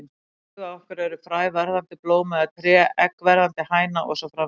Í huga okkar er fræ verðandi blóm eða tré, egg verðandi hæna og svo framvegis.